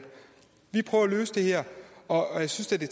vi prøver at løse det her og jeg synes da det